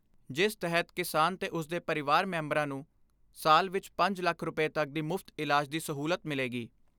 ਜਿਸ ਤਹਿਤ ਕਿਸਾਨ ਤੇ ਉਸਦੇ ਪਰਿਵਾਰ ਮੈਂਬਰਾਂ ਨੂੰ ਸਾਲ ਵਿਚ ਪੰਜ ਲੱਖ ਰੁਪਏ ਤੱਕ ਦੀ ਮੁਫਤ ਇਲਾਜ ਦੀ ਸਹੂਲਤ ਮਿਲੇਗੀ।